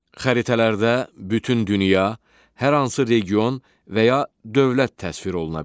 Xəritələrdə bütün dünya, hər hansı region və ya dövlət təsvir oluna bilər.